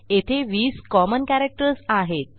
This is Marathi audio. येथे 20 कॉमन कॅरेक्टर्स आहेत